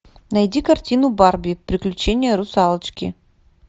найди картину барби приключения русалочки